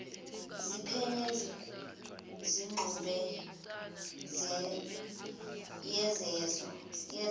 ziphenye ingxube yezenzo